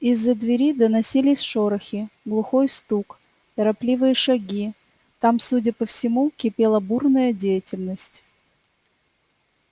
из-за двери доносились шорохи глухой стук торопливые шаги там судя по всему кипела бурная деятельность